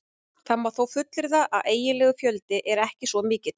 Það má þó fullyrða að eiginlegur fjöldi er ekki svo mikill.